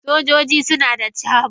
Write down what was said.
Sojoji suna da camo.